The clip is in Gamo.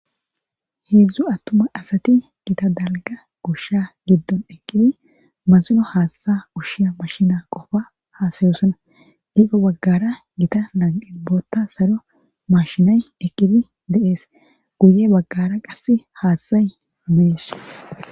Hezdzdu atuma asati Gita dalga Gosha gidoni eqidi masino haatha ushiya mashine Qopa hasayosona ,heno bagara eta lanqeni boota salo mashiney eqidi de'esi, guye bagara qaseka haathayi desi